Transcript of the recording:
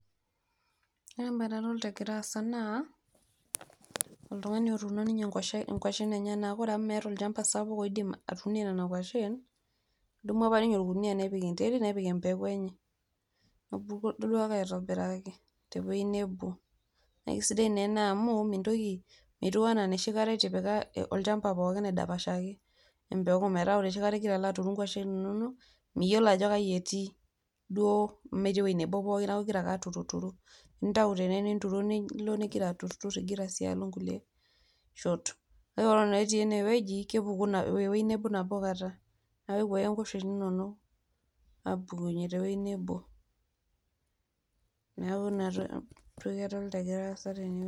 ore ena naa oltung'ani ounito ngwashen enyanak ore amu meeta ninye olchamba sapuk ounie nedumu ake ninye orkuniyia nepik enterit nepik empeku enye, nakisidai naa ene amu metiu enaa enoshikata itipika olchamba pooki amu midapasha neeku itum ake ingwashen inonok pooki.